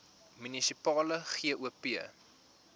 munisipale gop